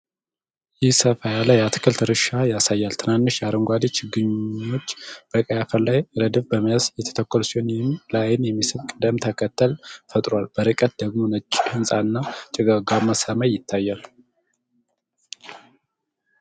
ይህ ሰፋ ያለ የአትክልት እርሻ ያሳያል። ትናንሽ አረንጓዴ ችግኞች በቀይ አፈር ላይ ረድፍ በመያዝ የተተከሉ ሲሆን፣ ይህም ለዓይን የሚስብ ቅደም ተከተል ፈጥሯል። በርቀት ደግሞ ነጭ ህንጻ እና ጭጋጋማ ሰማይ ይታያል።